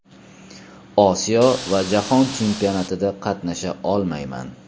Osiyo va Jahon chempionatida qatnasha olmayman.